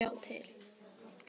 Já, sjá til!